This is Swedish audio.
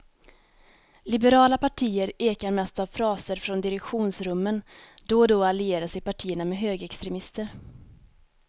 Liberala partier ekar mest av fraser från direktionsrummen, då och då allierar sig partierna med högerextremister.